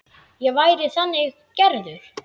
Ég væri þannig gerður.